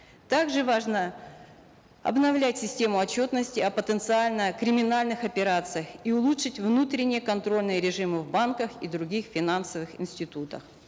также важно обновлять систему отчетности о потенциально криминальных операциях и улучшить внутренние контрольные режимы в банках и других финансовых институтах